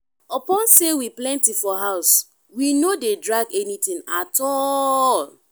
upon sey we plenty for house we no dey drag anytin at all.